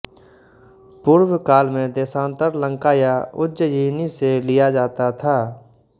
पूर्व काल में देशान्तर लंका या उज्जयिनी से लिया जाता था